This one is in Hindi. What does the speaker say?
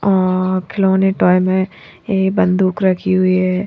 और खिलोने टॉय में ये बंदूख रखी हुयी है।